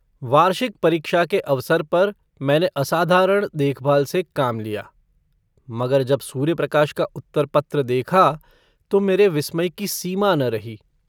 वार्षिक परीक्षा के अवसर पर मैंने असाधारण देखभाल से काम लिया मगर जब सूर्यप्रकाश का उत्तरपत्र देखा तो मेरे विस्मय की सीमा न रही।